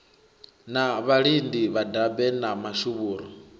na vhalidi vhadabe na mashuvhuru